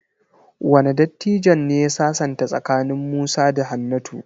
Wane dattijon ne ya sasanta tsakanin Musa da Hannatu?